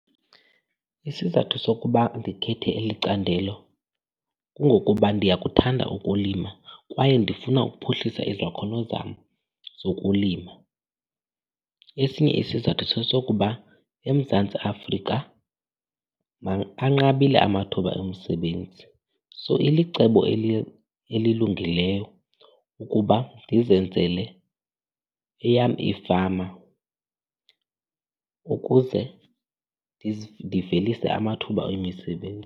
Isizathu sokuba ndikhethe eli candelo kungokuba ndiyakuthanda ukulima kwaye ndifuna ukuphuhlisa izakhono zam zokulima. Esinye isizathu sesokuba eMzantsi Afrika anqabile amathuba omsebenzi, so ilicebo elilungileyo ukuba ndizenzele eyam ifama ukuze ndivelise amathuba emisebenzi.